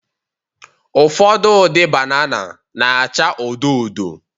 Ụfọdụ ụdị banana na-acha odo odo